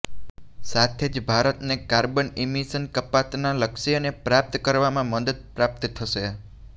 સાથે જ ભારતને કાર્બન ઈમિશન કપાતના લક્ષ્યને પ્રાપ્ત કરવામાં મદદ પ્રાપ્ત થશે